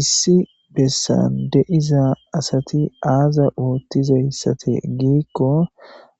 Issi bessan de7iza asati aaza oottizayssate giikko